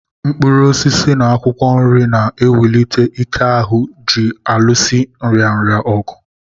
Mkpụrụosisi na akwụkwọ nri na ewulite Ike ahụ ji aluso nrịanrịa ọgụ